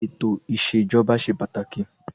Ètò ìsèjọba ṣe pàtàkì.